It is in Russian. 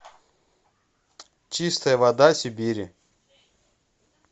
чистая вода сибири